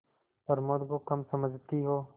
प्रमोद को कम समझती हो